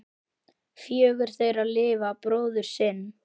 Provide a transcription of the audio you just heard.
Fjögur þeirra lifa bróður sinn.